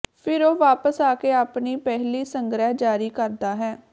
ਫਿਰ ਉਹ ਵਾਪਸ ਆ ਕੇ ਆਪਣੀ ਪਹਿਲੀ ਸੰਗ੍ਰਹਿ ਜਾਰੀ ਕਰਦਾ ਹੈ